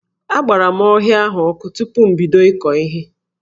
Agbara m ọhịa ahụ ọkụ tupu m bido ịkọ ihe.